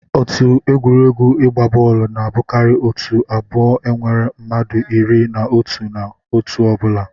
Otu egwuregwu igba bọọlụ na abụkarị otu abụọ nwere mmadụ iri na otụ na otu ọ bụla